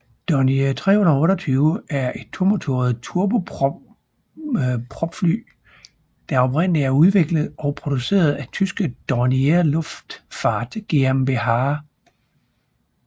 Dornier 328 er et tomotoret turbopropfly der oprindeligt er udviklet og produceret af tyske Dornier Luftfahrt GmbH